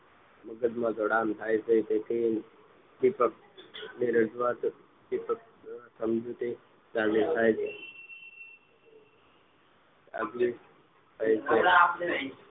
મગજમાં જોડાણ થાય છે અને તેથી ઉદ્દીપક રજૂઆત થતા અન્ય ઉપેદક મોટી ફાટી જાય છે